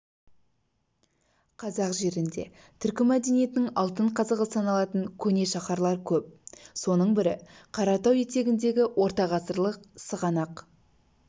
қазақ жерінде түркі мәдениетінің алтын қазығы саналатын көне шаһарлар көп соның бірі қаратау етегіндегі ортағасырлық сығанақ